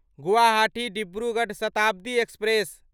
Guwahati Dibrugarh Shatabdi express